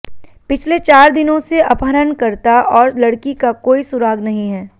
पिछले चार दिनों से अपहरणकर्ता और लड़की का कोई सुराग नहीं है